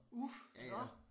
Uf nåh